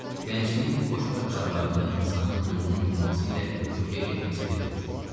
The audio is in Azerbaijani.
Gəncliyin bu xoşbəxt çağlarında insanın gözünü yumması ilə yuxuya getməsi bir olur.